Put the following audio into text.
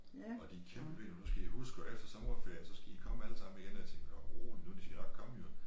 Og de kæmpede nu skal i huske og efter sommerferien så skal i komme allesammen igen og jeg tænkte nå rolig nu de skal nok komme jo